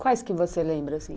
Quais que você lembra assim?